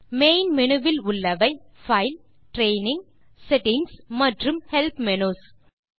main menu வில் உள்ளவை file training settings மற்றும் ஹெல்ப் மெனஸ்